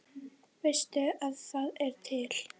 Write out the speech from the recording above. Veistu að það er til?